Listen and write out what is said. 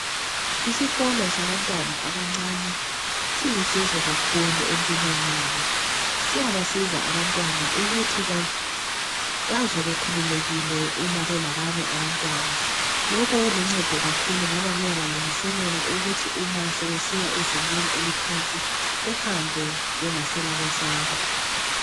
Isikolo sabantwana qbqncane .Silusizo kakhulu empilweni yabo . Siyabancedisa ukuthi bazwe be